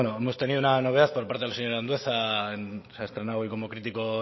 hemos tenido una novedad por parte del señor andueza se ha estrenado hoy como crítico